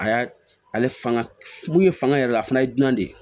A y'a ale fanga mun ye fanga yɛrɛ la fana ye dunan de ye